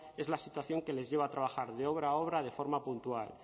es la situación que les lleva a trabajar de obra a obra de forma puntual